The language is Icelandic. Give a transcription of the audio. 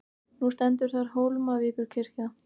Nú stendur þar Hólmavíkurkirkja.